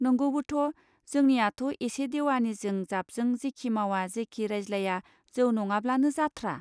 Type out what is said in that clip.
नंगौबोथ जोंनियाथ एसे देवानिजों जाबजों जेखि मावा जेखि रायज्लाया जौ नङाब्लानो जाथ्रा.